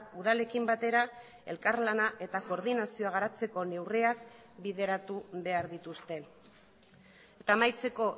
udalekin batera elkarlana eta koordinazioa garatzeko neurriak bideratu behar dituzte eta amaitzeko